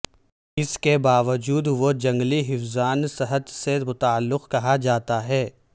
اس کے باوجود وہ جنگل حفظان صحت سے متعلق کہا جاتا ہے